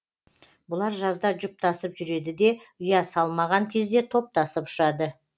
бұлар жазда жұптасып жүреді де ұя салмаған кезде топтасып ұшады